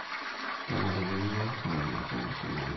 Kenarikino neramati imashinini